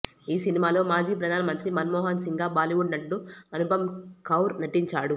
ఈ సినిమాలో మాజీ ప్రధానమంత్రి మన్మోహన్సింగ్గా బాలీవుడ్ నటుడు అనుపమ్ ఖేర్ నటించారు